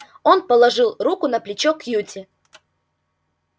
он положил руку на плечо кьюти